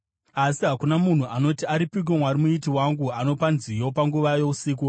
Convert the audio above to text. Asi hakuna munhu anoti, ‘Aripiko Mwari Muiti wangu, anopa nziyo panguva yousiku,